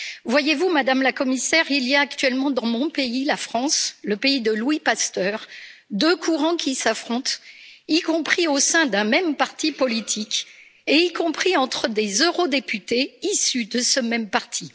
Voyez vous, Madame la Commissaire, il y a actuellement dans mon pays, la France, le pays de Louis Pasteur, deux courants qui s'affrontent, y compris au sein d'un même parti politique et y compris entre des eurodéputés issus de ce même parti.